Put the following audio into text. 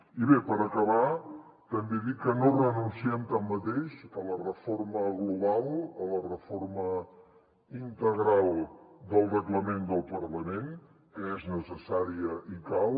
i bé per acabar també dir que no renunciem tanmateix a la reforma global a la reforma integral del reglament del parlament que és necessària i cal